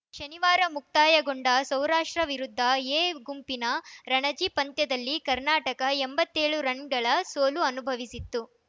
ಶನಿವಾರ ಮುಕ್ತಾಯಗೊಂಡ ಸೌರಾಷ್ಟ್ರ ವಿರುದ್ಧ ಎ ಗುಂಪಿನ ರಣಜಿ ಪಂದ್ಯದಲ್ಲಿ ಕರ್ನಾಟಕ ಎಂಬತ್ತೆಳು ರನ್‌ಗಳ ಸೋಲು ಅನುಭವಿಸಿತ್ತು